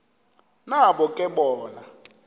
nabo ke bona